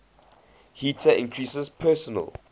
heater increases personal